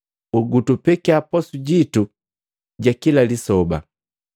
Gutupekiya posu jitu ja kila lisoba.